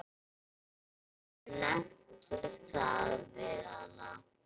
Hefurðu nefnt það við hana?